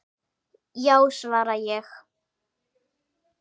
Já, svara ég.